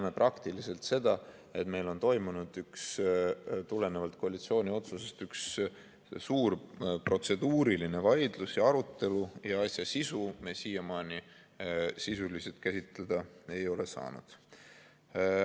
Me näeme seda, et meil on tulenevalt koalitsiooni otsusest toimunud üks suur protseduuriline vaidlus ja arutelu, ja asja sisu me siiamaani sisuliselt käsitleda ei ole saanud.